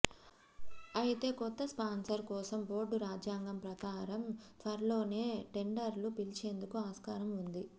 అయితే కొత్త స్పాన్సర్ కోసం బోర్డు రాజ్యాంగం ప్రకారం త్వరలోనే టెండర్లు పిలిచేందుకు ఆస్కారం ఉంది